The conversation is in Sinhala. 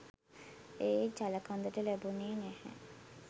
ඒ ජලකඳට ලැබුණේ නැහැ.